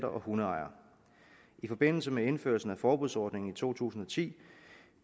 og hundeejere i forbindelse med indførelsen af forbudsordningen i to tusind og ti